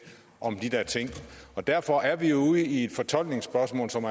om de der ting derfor er vi ude i et fortolkningsspørgsmål som